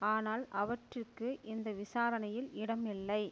ஆனால் அவற்றிற்கு இந்த விசாரணையில் இடம் இல்லை